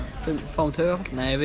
fáum taugaáfall nei